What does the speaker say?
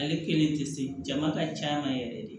Ale kelen tɛ se jama ka ca ma yɛrɛ de